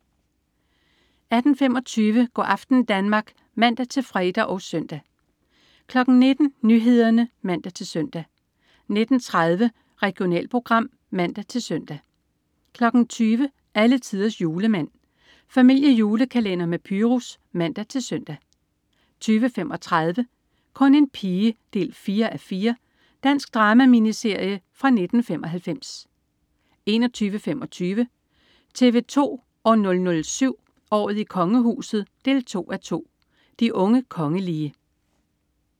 18.25 Go' aften Danmark (man-fre og søn) 19.00 Nyhederne (man-søn) 19.30 Regionalprogram (man-søn) 20.00 Alletiders Julemand. Familiejulekalender med Pyrus (man-søn) 20.35 Kun en pige 4:4. Dansk drama-miniserie fra 1995 21.25 TV 2 007: Året i Kongehuset 2:2. De unge kongelige